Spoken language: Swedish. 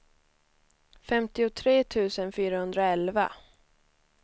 femtiotre tusen fyrahundraelva